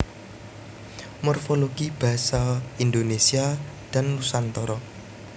Morfologi Basa Indonesia dan Nusantara